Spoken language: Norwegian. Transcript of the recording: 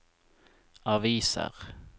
aviser